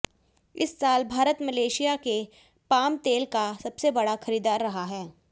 इस साल भारत मलेशिया के पाम तेल का सबसे बड़ा खरीदार रहा है